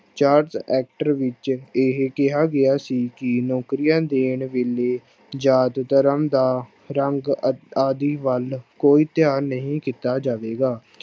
Charter actor ਵਿੱਚ ਇਹ ਕਿਹਾ ਗਿਆ ਸੀ ਕਿ ਨੌਕਰੀਆਂ ਦੇਣ ਵੇਲੇ ਜਾਤ ਧਰਮ ਦਾ ਰੰਗ ਅ ਆਦਿ ਵੱਲ ਕੋਈ ਧਿਆਨ ਨਹੀਂ ਦਿੱਤਾ ਜਾਵੇਗਾ।